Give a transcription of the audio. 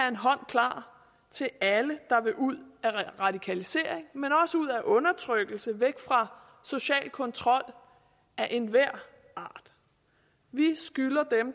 en hånd klar til alle der vil ud af radikalisering men også ud af undertrykkelse og væk fra social kontrol af enhver art vi skylder